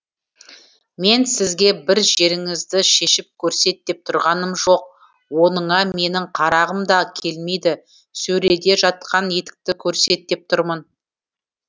мен сізге бір жеріңізді шешіп көрсет деп тұрғаным жоқ оныңа менің қарағым да келмейді сөреде жатқан етікті көрсет деп тұрмын